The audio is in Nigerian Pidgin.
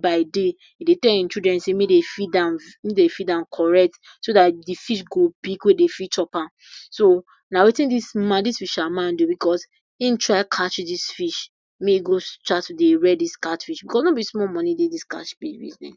by day e dey tell im children sey may dey feed am may dey feed am correct so dat de fish go big we dey fit chop am so, na wetin dis man dis fisherman dey do because him try catch dis fish may e go chance to dey rear dis cat fish because no be small money dey dis catfish business.